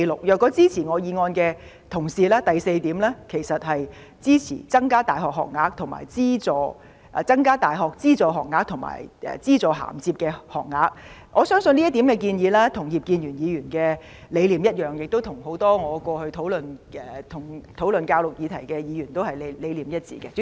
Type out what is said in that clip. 如果支持我原議案的同事，第四項應是，"增加大學資助學額和資助銜接學額"，我相信這點建議跟葉建源議員的理念一樣，亦跟很多過去跟我討論教育議題的議員的理念一致。